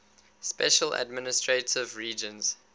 special administrative regions